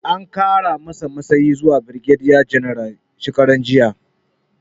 An kara mashi matsayi zuwa birgediya janaral shekaranjiya